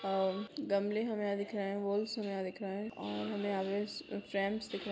अ गमले हमे यहाँ दिख रहे है वॉल्स हमे यहाँ दिख रहे है और हमें आवेस फ्रेम्स यहाँ दिख--